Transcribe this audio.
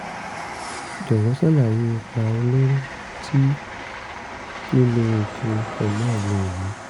jọ̀wọ́ ṣàlàyé ipa olóró tí lílo oògùn phenol lè ní